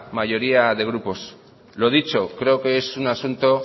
mayoría de grupos lo dicho creo que es un asunto